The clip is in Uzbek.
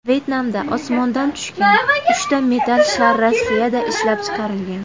Vyetnamda osmondan tushgan uchta metall shar Rossiyada ishlab chiqarilgan.